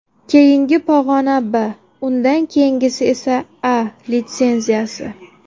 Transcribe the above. Keyingi pog‘ona B, undan keyingisi esa A litsenziyasi.